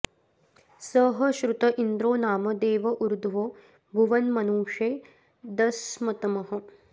स ह श्रुत इन्द्रो नाम देव ऊर्ध्वो भुवन्मनुषे दस्मतमः